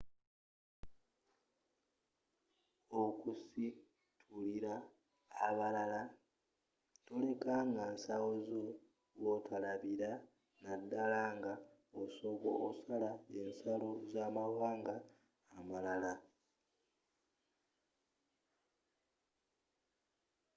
okusitulila abalala toleka nga nsawo zo wotolabira naddala nga osala ensalo z'amawanga amalala